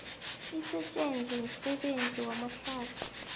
asetjenzwe msebenzi wamahlathi